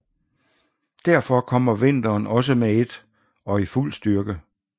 Derfor kommer vinteren også med et og i fuld styrke